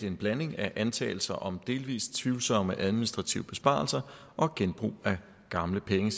en blanding af antagelser om delvist tvivlsomme administrative besparelser og genbrug af gamle penge